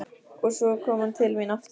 Svo kom hann til mín aftur.